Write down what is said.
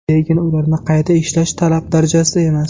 Lekin ularni qayta ishlash talab darajasida emas.